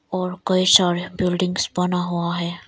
और कई सारे बिल्डिंग्स बना हुआ है।